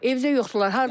Evdə yoxdular.